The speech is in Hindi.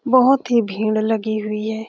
बहोत ही भींड़ लगी हुई है।